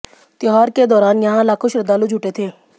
त्योहार के दौरान यहां लाखों श्रद्धालु जुटे थे